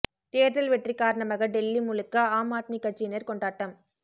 தேர்தல் வெற்றி காரணமாக டெல்லி முழுக்க ஆம் ஆத்மி கட்சியினர் கொண்டாட்டம்